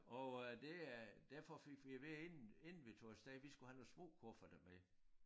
Og øh det øh derfor fik vi at vide inden inden vi tog af sted vi skulle have nogle små kufferter med